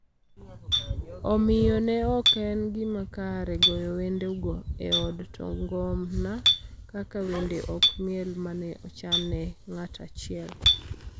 Omiyo, ne ok en gima kare goyo wendego e od to ngona kaka wende kod miel ma ne ochan ne ng�at achiel